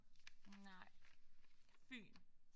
Nej. Fyn